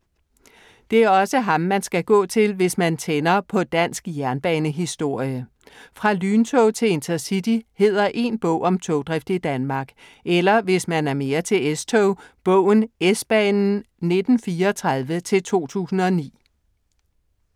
Det er også ham man skal gå til, hvis man tænder på dansk jernbanehistorie. Fra lyntog til InterCity hedder én bog om togdrift i Danmark. Eller, hvis man er mere til S-tog, bogen S-banen 1934-2009.